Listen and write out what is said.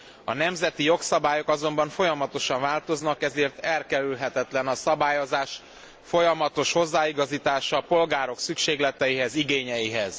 A nemzeti jogszabályok azonban folyamatosan változnak, ezért elkerülhetetlen a szabályozás folyamatos hozzáigazítása a polgárok szükségleteihez, igényeihez.